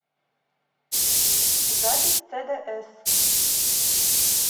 запись цдс